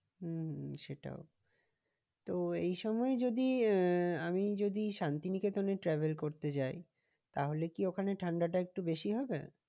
হম হম সেটাও তো এই সময় যদি আহ আমি যদি শান্তিনিকেতনে travel করতে যাই তাহলে কি ওখানে ঠান্ডাটা একটু বেশি হবে?